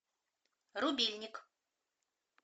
рубильник